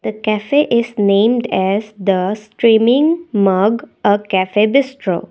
the coffee is named as the steaming mug a cafe bistro.